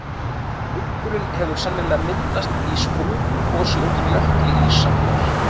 hryggurinn hefur sennilega myndast í sprungugosi undir jökli ísaldar